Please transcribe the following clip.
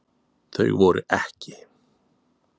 Þau voru EKKI.